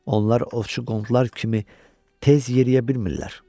Onlar ovçu qonular kimi tez yeriyə bilmirlər.